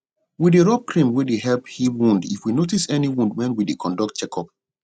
we dey rub cream wey dey help heal wounds if we notice any wound when we dey conduct check up